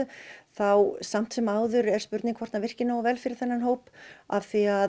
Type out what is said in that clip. þá samt sem áður er spurning hvort hann virki nógu vel fyrir þennan hóp af því að